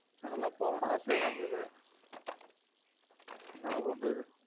அங்க லான் போனும்னு ஆசயா தான் இக்குது ஏன்னா பண்றது